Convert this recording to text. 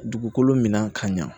Dugukolo min na ka ɲa